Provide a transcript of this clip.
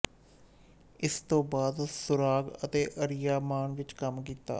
ਇਸ ਤੋਂ ਬਾਅਦ ਸੁਰਾਗ ਅਤੇ ਆਰਿਆਮਾਨ ਵਿੱਚ ਕੰਮ ਕੀਤਾ